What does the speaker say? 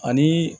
Ani